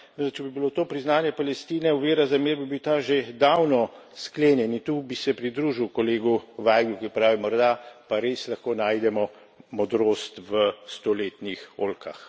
Torej če bi bilo to priznanje Palestine ovira za mir, bi bil ta že davno sklenjen. In tu bi se pridružil kolegu Vajglu, ki pravi, morda pa res lahko najdemo modrost v stoletnih oljkah.